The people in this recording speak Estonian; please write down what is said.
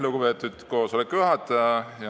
Lugupeetud koosoleku juhataja!